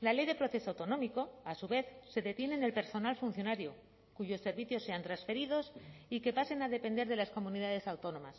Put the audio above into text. la ley de proceso autonómico a su vez se detiene en el personal funcionario cuyos servicios sean transferidos y que pasen a depender de las comunidades autónomas